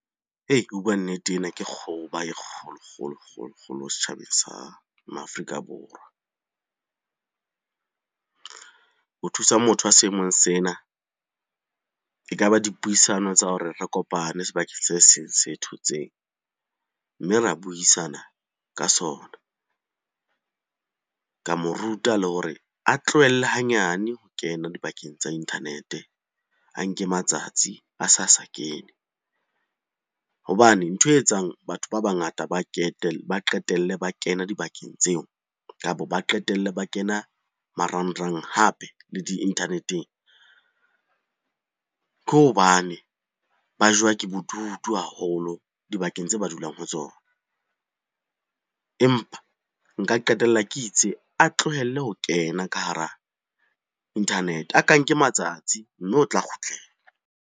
O bua nnete ena ke e kgolo, kgolo, kgolo, kgolo setjhabeng sa ma Afrika Borwa. Ho thusa motho a seemong sena ekaba dipuisano tsa hore re kopane sebakeng se seng se thotseng, mme ra buisana ka sona. Ka mo ruta le hore a tlohelle hanyane ho kena dibakeng tsa internet-e, a nke matsatsi a sa sa kene hobane nthwe e etsang batho ba bangata ba qetelle ba kena dibakeng tseo, kapo ba qetelle ba kena marangrang hape le di-internet-eng. Ke hobane ba jowa ke bodutu haholo dibakeng tse ba dulang ho tsona, empa nka qetella ke itse a tlohelle ho kena ka hara internet-e, a ka nke matsatsi mme o tla kgutlela.